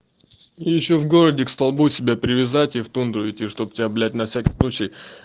ещё в городе к столбу себя привязати в тундру идти чтобы тебя блять на всякий случай